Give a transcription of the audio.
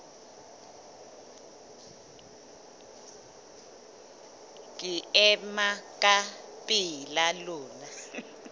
ke ema ka pela lona